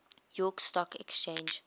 york stock exchange